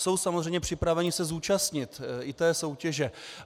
Jsou samozřejmě připraveni se zúčastnit i té soutěže.